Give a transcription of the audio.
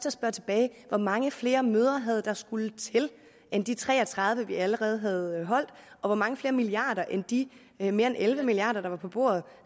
at spørge tilbage hvor mange flere møder havde der skullet til end de tre og tredive vi allerede havde holdt og hvor mange flere milliarder end de mere end elleve milliard kr der var på bordet